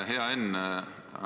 Hea Enn!